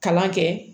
Kalan kɛ